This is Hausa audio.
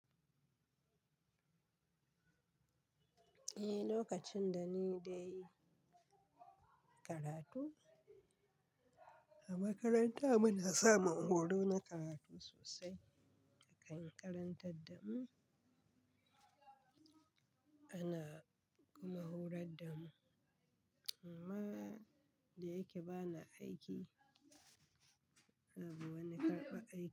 Eh, lokacin da ni dai karatu a makaranta muna samun horo na karatu sosai a kan karantar da mu. Ana kuma horar da mu. Amma da yake bana aiki, yana bu wani karɓar aiki.